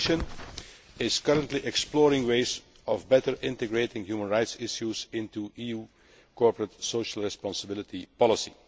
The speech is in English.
The Commission is currently exploring ways of better integrating human rights issues into EU corporate social responsibility policy.